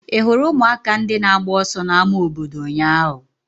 Ị hụrụ ụmụaka ndị na-agba ọsọ n'ámá obodo ụnyaahụ?